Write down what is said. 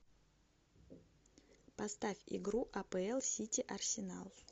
поставь игру апл сити арсенал